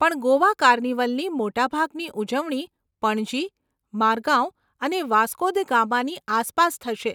પણ ગોવા કાર્નિવલની મોટા ભાગની ઉજવણી પણજી, મારગાવ અને વાસ્કો દ ગામાની આસપાસ થશે.